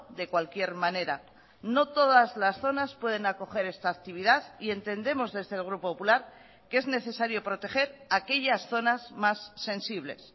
de cualquier manera no todas las zonas pueden acoger esta actividad y entendemos desde el grupo popular que es necesario proteger aquellas zonas más sensibles